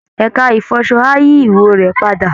Ẹ̀ka ìfọṣọ á yí ìwò rẹ padà